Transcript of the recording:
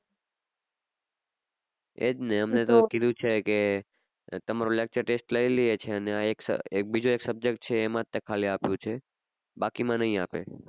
એજ ને એમને તો કીઘુ છે કે તમારું lecture test લઈ છે ને બીજો એક subject છે એમાં જ ખાલી આપ્યું છે બાકી માં ની આપે